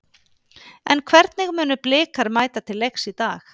En hvernig munu Blikar mæta til leiks í dag?